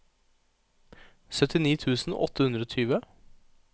syttini tusen åtte hundre og tjue